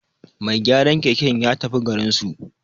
Mai gyaran keken ya tafi garinsu